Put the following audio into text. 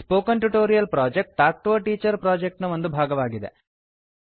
spoken tutorial project talk to a teacher project ನ ಒಂದು ಭಾಗವಾಗಿದೆ